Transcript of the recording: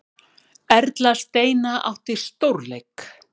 Erla Steina átti stórleik